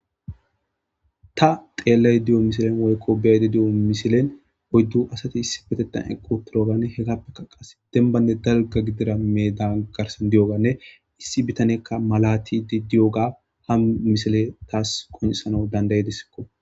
Ta xeellaydda diyo misilen woykko beyaydda diyo misilen oyddu asati issipetethan eqqi uttidooganne hegappekka qasse dembanne dalga gidida meedan kaasan diyooganne issi bitaneykka malaatiidde diyopga hamisiley taas qoncisanaw dandda7ideskko.